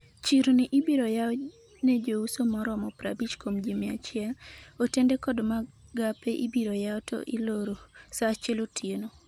chirni ibiro yaw ne jouso moromo 50 kuom ji 100,otende kod magape ibiro yaw to iloro sa achiel otieno